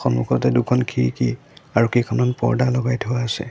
সন্মুখতে দুখন খিৰিকী আৰু কেইখন মান পৰ্দা লগাই থোৱা হৈছে।